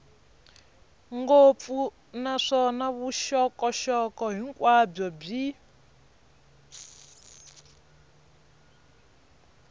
ngopfu naswona vuxokoxoko hinkwabyo byi